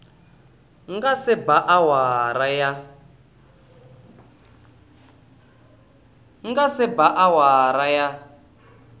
nga se ba awara ya